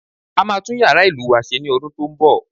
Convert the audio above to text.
A máa tún yàrá ìlù wa se ní oṣù tó ń bọ̀